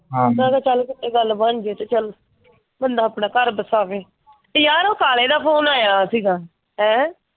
ਚਲੋ ਚਲ ਚਲ ਬੰਦਾ ਆਪਣਾ ਘਰ ਬਸਾਵੈ। ਤੇ ਯਾਰ ਉਹ ਕਾਲੇ ਦਾ ਫੋਨ ਆਇਆ ਸੀਗਾ। ਹੈਂ?